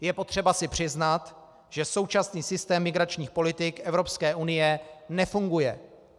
Je potřeba si přiznat, že současný systém migračních politik Evropské unie nefunguje.